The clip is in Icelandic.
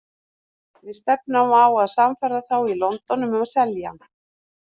Við stefnum á að sannfæra þá í London um að selja hann.